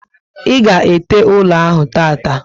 I ga ete ụlọ ahụ tata